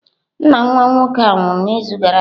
Nna nwa nwoke a nwụrụ n'izu gara aga